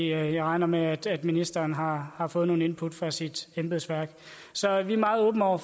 jeg regner med at ministeren har har fået nogle input fra sit embedsværk så vi er meget åbne over